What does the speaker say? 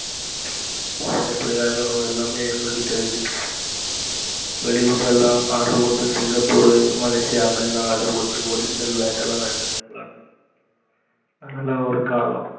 எப்டி வாங்கணும் எல்லாமே எங்களுக்கு தெரிஞ்சுருச்சு வெளியூரலாம் order போட்டு singaporemalaysia அங்கெலாம் order போட்டு originalbat லாம் விளையாண்டோம், அதலாம் ஒரு காலம்.